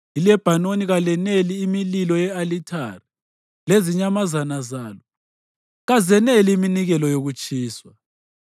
ILebhanoni kalaneli imililo ye-alithare, lezinyamazana zalo kazaneli iminikelo yokutshiswa.